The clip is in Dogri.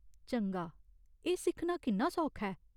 चंगा, एह् सिक्खना किन्ना सौखा ऐ ?